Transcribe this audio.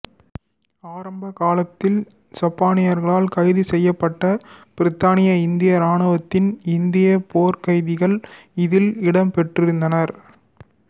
ஆரம்ப காலத்தில் சப்பானியர்களால் கைது செய்யப்பட்ட பிரித்தானிய இந்திய இராணுவத்தின் இந்திய போர்க்கைதிகள் இதில் இடம் பெற்றிருந்தனர்